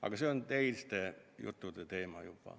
Aga see on juba teiste juttude teema.